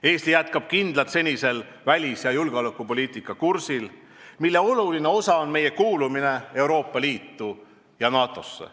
Eesti jätkab kindlalt senisel välis- ja julgeolekupoliitika kursil, mille oluline osa on meie kuulumine Euroopa Liitu ja NATO-sse.